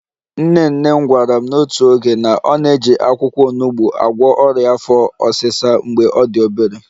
/Nne nne m gwara m n'otu oge na ọ na-eji akwụkwọ onugbo agwọ ọrịa afọ ọsịsa mgbe ọ dị obere